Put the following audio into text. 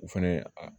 U fɛnɛ a